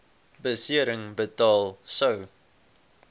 besering betaal sou